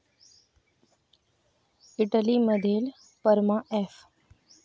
Italy मधील Parma F